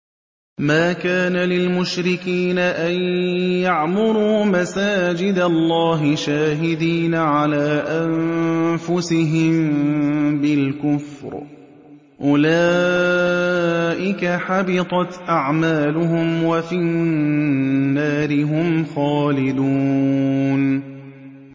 مَا كَانَ لِلْمُشْرِكِينَ أَن يَعْمُرُوا مَسَاجِدَ اللَّهِ شَاهِدِينَ عَلَىٰ أَنفُسِهِم بِالْكُفْرِ ۚ أُولَٰئِكَ حَبِطَتْ أَعْمَالُهُمْ وَفِي النَّارِ هُمْ خَالِدُونَ